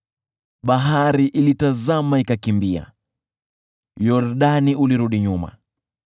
Bahari ilitazama ikakimbia, Yordani ulirudi nyuma,